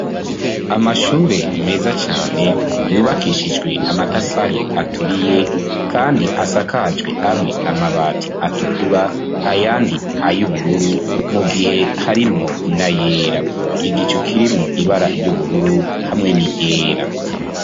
Amashure meza cane, yubakishijwe amatafari aturiye, kandi asakajwe amwe, amabati atukura, ayandi ay'ubururu, mu gihe harimwo n'ayera; igicu kirimwo ibara ry'ubururu, hamwe n'iryera.